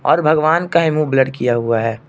और भगवान का ही मुंह ब्लर किया हुआ है।